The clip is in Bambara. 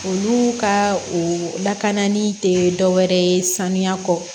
Olu ka o lakanali tɛ dɔwɛrɛ ye sanuya kɔ